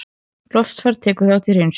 Loftfar tekur þátt í hreinsun